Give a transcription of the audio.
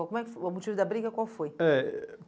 Como é que foi? O motivo da briga qual foi? Eh